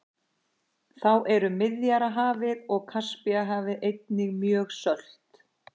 Þá eru Miðjarðarhafið og Kaspíahafið einnig mjög sölt.